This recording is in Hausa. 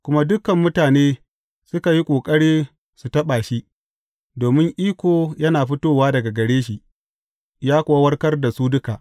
Kuma dukan mutane suka yi ƙoƙari su taɓa shi, domin iko yana fitowa daga gare shi, ya kuwa warkar da su duka.